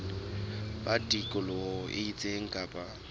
ba tikoloho e itseng kapa